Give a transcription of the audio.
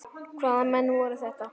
Hvaða menn voru þetta.